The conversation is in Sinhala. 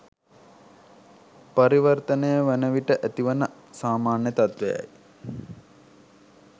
පරිවර්තනය වන විට ඇති වන සාමාන්‍ය තත්ත්වයයි.